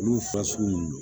Olu fa sugu nunnu